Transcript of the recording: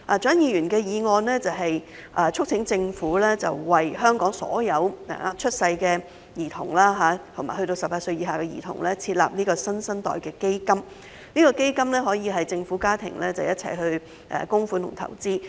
蔣議員的議案是促請政府為本港所有新生嬰兒及18歲以下兒童設立"新生代基金"，該基金可由政府及家庭共同供款和投資。